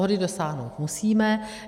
Shody dosáhnout musíme.